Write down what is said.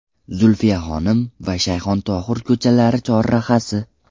Zulfiyaxonim va Shayxontohur ko‘chalari chorrahasi.